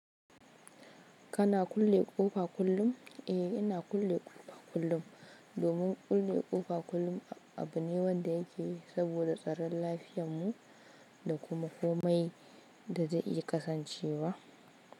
Kana kulle ƙofa kullum? Eh, ina kulle ƙofa kullum domin kulle ƙofa kullum abu ne wanda yake saboda tsaron lafiyanmu da kuma komai da za a iya kasancewa.